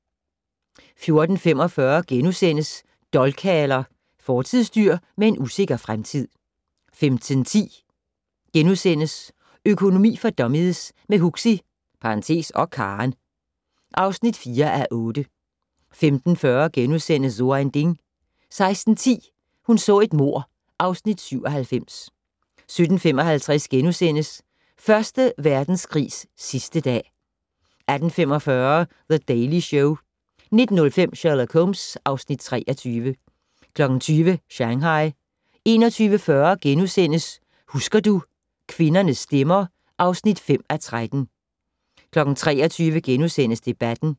14:45: Dolkhaler - fortidsdyr med en usikker fremtid * 15:10: Økonomi for dummies - med Huxi (og Karen) (4:8)* 15:40: So ein Ding * 16:10: Hun så et mord (Afs. 97) 17:55: Første Verdenskrigs sidste dag * 18:45: The Daily Show 19:05: Sherlock Holmes (Afs. 23) 20:00: Shanghai 21:40: Husker du - kvindernes stemmer (5:13)* 23:00: Debatten *